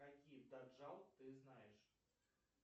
какие каджал ты знаешь